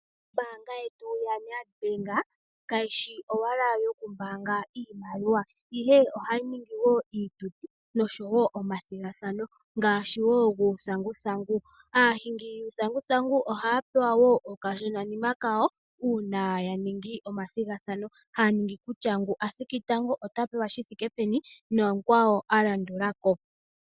Ombaanga yetu yaNedbank, kayi shi owala yokumbaanga iimaliwa, ihe ohayi ningi wo iituthi nosho wo omathigathano ngaashi wo guuthanguthangu. Aahingi yuuthanguthangu ohaya pewa wo okashonanima wawo uuna ya ningi omathigathano, haya ningi kutya ngu a thiki tango ota pewa shi thike peni nomukwawo a landula ko.